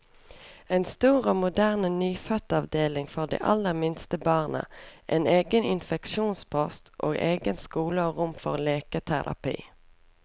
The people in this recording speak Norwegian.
En stor og moderne nyfødtavdeling for de aller minste barna, en egen infeksjonspost, og egen skole og rom for leketerapi.